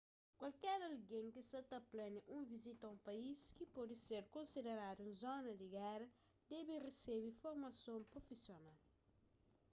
kualker algen ki sa ta plania un vizita a un país ki pode ser konsideradu un zona di géra debe resebe formason prufisional